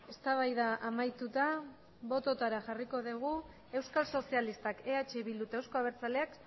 eztabaida amaituta bototara jarriko dugu euskal sozialistak eh bildu eta euzko abertzaleak